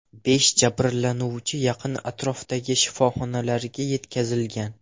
Besh jabrlanuvchi yaqin atrofdagi shifoxonalarga yetkazilgan.